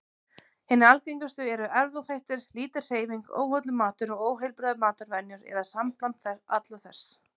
Hinar algengustu eru erfðaþættir, lítil hreyfing, óhollur matur og óheilbrigðar matarvenjur, eða sambland alls þessa.